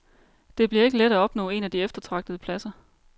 Det bliver ikke let at opnå en af de eftertragtede pladser.